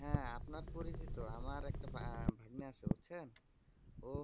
হ্যা আপনার পরিচিত আমার একটা ভাগ্নে আছে বুজছেন